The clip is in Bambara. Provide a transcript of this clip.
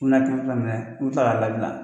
U bi na kɛmɛ fila minɛ u bi kila k'a la bila.